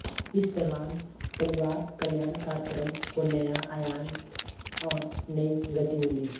इस दौरान परिवार कल्याण कार्यक्रम को नया आयाम और नयी गति मिली